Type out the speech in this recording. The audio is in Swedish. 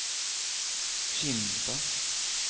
Kimstad